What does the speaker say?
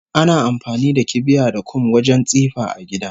Ana amfani da kibiya da kum wajen tsifa a gida